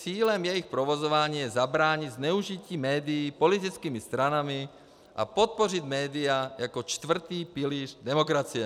Cílem jejich provozování je zabránit zneužití médií politickými stranami a podpořit média jako čtvrtý pilíř demokracie.